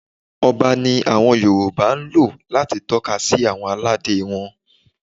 Ọba ni àwọn Yorùbá ń lò láti tọ́ka sí àwọn aládé wọn.